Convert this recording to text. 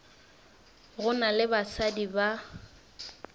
go na le basadi ba